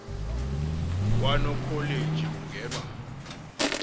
kwa nokholeji kungenwa